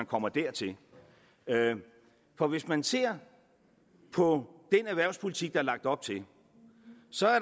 kommer dertil for hvis man ser på den erhvervspolitik der er lagt op til så